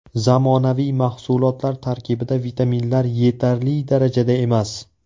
Zamonaviy mahsulotlar tarkibida vitaminlar yetarli darajada emas.